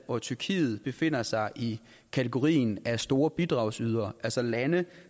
og tyrkiet befinder sig i kategorien af store bidragsydere altså lande